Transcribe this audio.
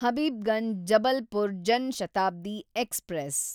Habibganj Jabalpur Jan Shatabdi express